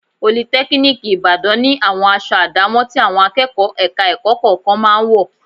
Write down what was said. Politẹ́kíníìkì Ìbàdàn ni àwọn aṣọ àdámọ̀ tí àwọn akẹ́kọ̀ọ́ ẹ̀ka-ẹ̀kọ́ kọ̀ọ̀kan máa ń wọ̀